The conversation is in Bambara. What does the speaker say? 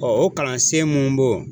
Ɔ o kalansen mun b'o